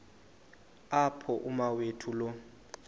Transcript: apho umawethu lo